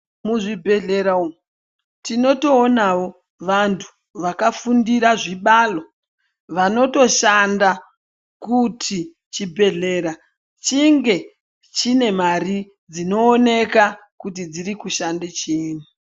Muzvibhehlera umu tinotoonawo vantu vakafundira zvibalo vanotoshanda kuti chibhehlera chinge chine mare dzinooneka kuti dzirikushande chiinyi.